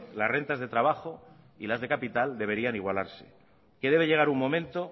las rentas de trabajo y las de capital debería igualarse que debe llegar un momento